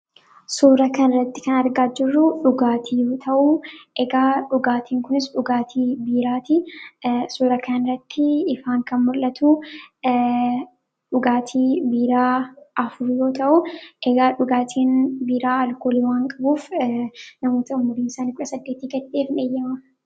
Suura kanatti kan argaa jirru, dhugaatii yoo ta'u dhugaatiin kunis dhugaatii biiraati. Suura kanatti ifaan kan mul'atu dhugaatii biiraa afur yoo ta'u, dhugaatii biiraa alkoolii waan qabuuf namoota umuriin isaanii kudha saddeeti gad ta'eef hin eeyyamamu.